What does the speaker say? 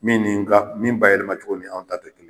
Min nin ka min bayɛlɛma cogo ni anw ta tɛ kelen